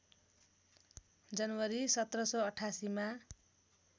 जनवरी १७८८ मा